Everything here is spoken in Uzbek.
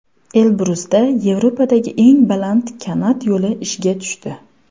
Elbrusda Yevropadagi eng baland kanat yo‘li ishga tushdi.